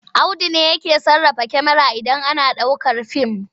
Auda ne yake sarrafa kyamara idan ana ɗaukar fim.